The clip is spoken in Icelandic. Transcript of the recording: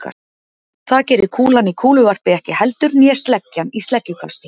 Það gerir kúlan í kúluvarpi ekki heldur né sleggjan í sleggjukasti.